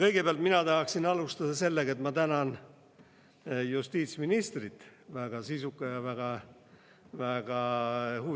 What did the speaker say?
Kõigepealt mina tahaksin alustada sellega, et ma tänan justiitsministrit väga sisuka ja väga huvitava ettekande eest.